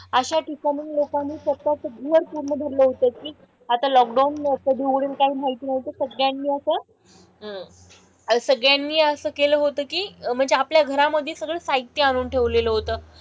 अशा ठिकाणाहून लोकांनी स्वतःचं घर पूर्ण भरलं होतं की आता लॉकडाउन कधी उघडेल काही माहित नव्हतं. सगळ्यांनी असं अह सगळ्यांनी असं केलं होतं की म्हणजे आपल्या घरामधे सगळं साहित्य आणून ठेवलेलं होतं.